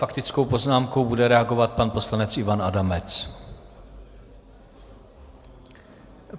Faktickou poznámkou bude reagovat pan poslanec Ivan Adamec.